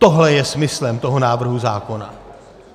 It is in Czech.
Tohle je smyslem toho návrhu zákona.